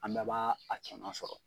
An bɛ b'aa a cɛman sɔrɔ.